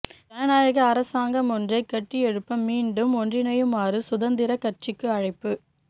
ஜனநாயக அரசாங்கம் ஒன்றை கட்டியெழுப்ப மீண்டும் ஒன்றிணையுமாறு சுதந்திரக் கட்சிக்கு அழைப்பு